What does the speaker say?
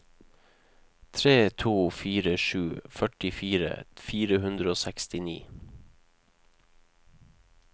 tre to fire sju førtifire fire hundre og sekstini